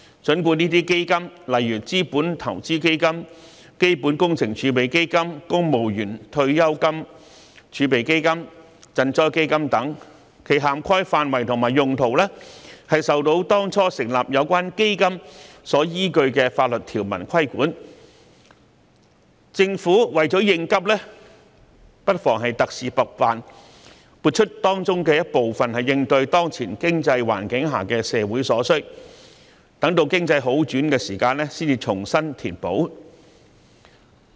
儘管這些基金如資本投資基金、基本工程儲備基金、公務員退休金儲備基金、賑災基金等，其涵蓋範圍及用途均受到當初成立有關基金時所依據的法律條文所規管，但政府為了應急也不妨特事特辦，撥出當中一部分應對當前經濟環境下的社會所需，待經濟好轉時才重新填補。